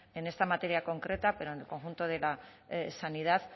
en esta materia concreta pero en conjunto de la sanidad